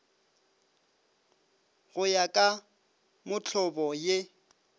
go ya ka mohlobo ye